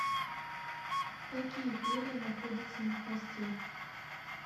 какие перья находятся на хвосте